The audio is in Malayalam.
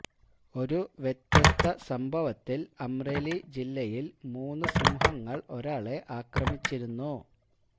ഒരു വ്യത്യസ്ത സംഭവത്തില് അമ്രേലി ജില്ലയില് മൂന്ന് സിംഹങ്ങള് ഒരാളെ ആക്രമിച്ചിരുന്നു